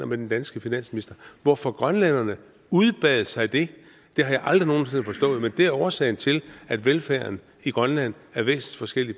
med den danske finansminister hvorfor grønlænderne udbad sig det har jeg aldrig nogen sinde forstået men det er årsagen til at velfærden i grønland er væsensforskellig